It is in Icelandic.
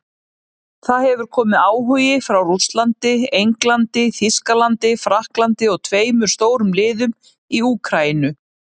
Það hefur komið áhugi frá Rússlandi, Englandi, Þýskalandi Frakklandi og tveimur stórum liðum í Úkraínu.